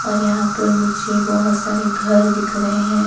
और यहां पर मुझे बहुत सारे घर दिख रहे हैं।